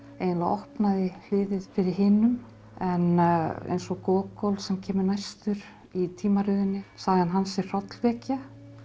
eiginlega opnaði hliðið fyrir hinum en eins og Gogol sem kemur næstur í tímaröðinni sagan hans er hrollvekja